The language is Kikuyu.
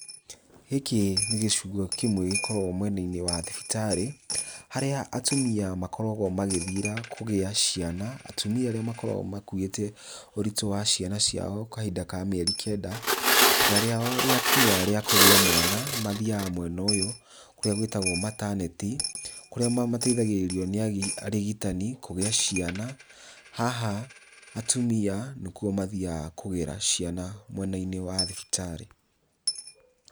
Gĩkĩ nĩ gĩcigo kĩmwe gĩkoragwo mwena-inĩ wa thibitarĩ harĩa atumia makoragwo magĩthiĩra kũgĩa ciana atumia arĩa makoragwo makũite ũritũ wa ciana ciao kahinda ka mĩeri kenda, ihinda rĩao rĩakinya rĩa kũgĩa mwana mathiaga mwena ũyũ kũrĩa gwĩtagwo mataneti kũrĩa mateithagirĩrio nĩ arigitani kũgĩa ciana haha atumia nĩkũo mathiaga kũgĩra ciana mwena-inĩ wa thibitarĩ.